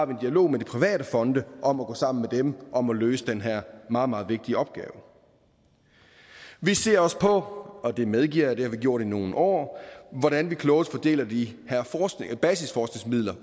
dialog med de private fonde om at gå sammen med dem om at løse den her meget meget vigtige opgave vi ser også på og det medgiver jeg at vi har gjort i nogle år hvordan vi klogest fordeler de her basisforskningsmidler